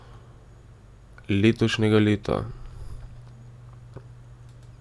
Letošnjega leta.